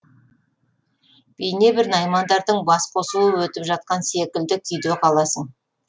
бейнебір наймандардың басқосуы өтіп жатқан секілді күйде қаласың